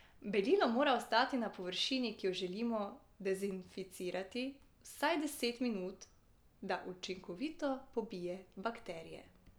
Belilo mora ostati na površini, ki jo želimo dezinficirati, vsaj deset minut, da učinkovito pobije bakterije.